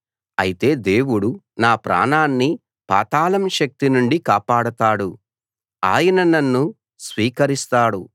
అయితే దేవుడు నా ప్రాణాన్ని పాతాళం శక్తి నుండి కాపాడతాడు ఆయన నన్ను స్వీకరిస్తాడు